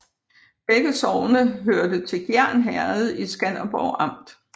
Begge sogne hørte til Gjern Herred i Skanderborg Amt